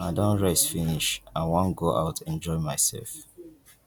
i don rest finish i wan go out enjoy myself